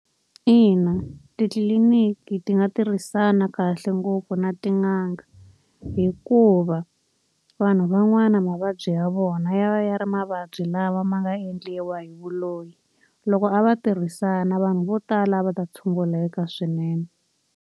Ina titliliniki ti nga tirhisana kahle ngopfu na tin'anga, hikuva vanhu van'wana mavabyi ya vona ya ya ri mavabyi lama ma nga endliwa hi vuloyi. Loko a va tirhisana vanhu vo tala a va ta tshunguleka swinene.